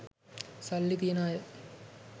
සල්ලි තියෙන අය